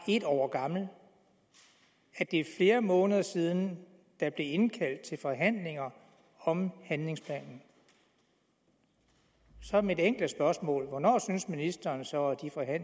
et år gammel og at det er flere måneder siden der blev indkaldt til forhandlinger om handlingsplanen så er mit enkle spørgsmål hvornår synes ministeren så